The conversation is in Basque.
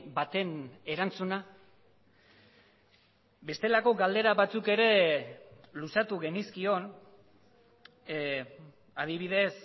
baten erantzuna bestelako galdera batzuk ere luzatu genizkion adibidez